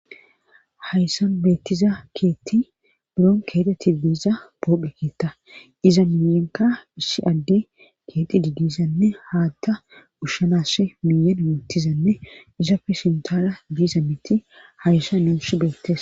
Hayssan beettiza keetti buron keeteti diiza boophekeeta iza miyenka issi adde keeti didisanne haatta ushshanass miyan moottizanne izapfe sintara diisa mitti hayssa nuush beettisa